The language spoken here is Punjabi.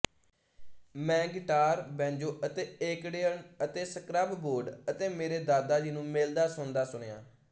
ਮੈਂ ਗਿਟਾਰ ਬੈਂਜੋ ਅਤੇ ਏਕਰਡਿਅਨ ਅਤੇ ਸਕ੍ਰੱਬ ਬੋਰਡ ਅਤੇ ਮੇਰੇ ਦਾਦਾ ਜੀ ਨੂੰ ਮਿਲਦਾਸੁਣਦਾ ਸੁਣਿਆ